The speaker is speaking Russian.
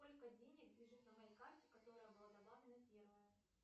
сколько денег лежит на моей карте которая была добавлена первая